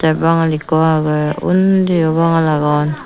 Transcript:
tey bangal eko agey ondi yo bangal agon.